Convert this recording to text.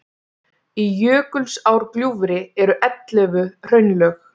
í jökulsárgljúfri eru ellefu hraunlög